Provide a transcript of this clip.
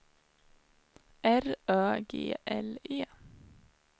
R Ö G L E